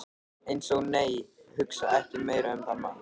Eins og- nei, hugsa ekki meira um þann mann!